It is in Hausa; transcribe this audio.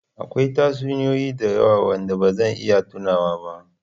Akwai tatsuniyoyi da yawa waɗanda ba zan iya tunawa ba.